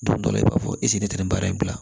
Don dɔ la i b'a fɔ ne tɛ nin baara in bila